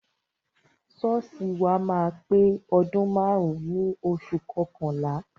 Ṣọ́ọ̀ṣì wa máa pé ọdún márùn-ún ní oṣù kọkànlá.